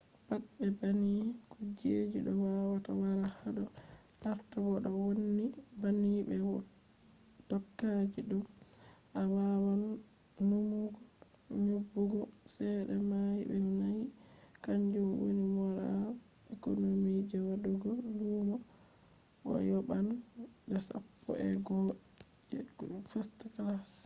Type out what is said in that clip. pat be banni kuje do wawata wara hado arha: bo do vonni banni be dokaji thumb awawan nuumugo nyobugo chede mai de naiiy kanjum woni normal economy je wadugo lumo bo a yoban de sappo’ego’o je first class!